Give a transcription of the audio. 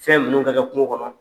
Fɛn ninnu ka kɛ kuŋo kɔnɔ.